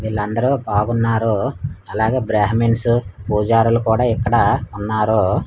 వీళ్ళందరూ బాగున్నారో అలాగే బ్రాహ్మిన్స్ పూజారులు కూడా ఇక్కడ ఉన్నారు.